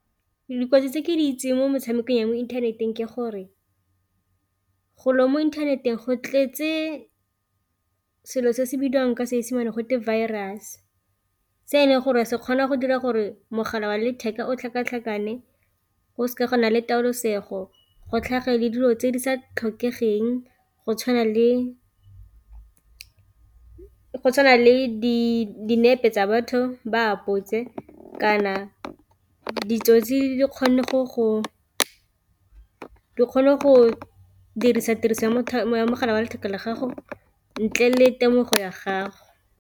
Dikotsi tse ke di itseng mo metshamekong ya mo inthaneteng ke gore golo mo inthaneteng go tletse selo se se bidiwang ka Seesemane gote virus, se e leng gore se kgona go dira gore mogala wa letheka o tlhakatlhakane go seka gona le taolosego go tlhage le dilo tse di sa tlhokegeng go tshwana le dinepe tsa batho ba apotse, kana ditsotsi di kgone go dirisa tiriso ya mogala wa letheka la gago ntle le temogo ya gago.